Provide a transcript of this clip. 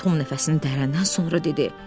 Tom nəfəsini dərdən sonra dedi: